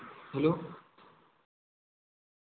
hello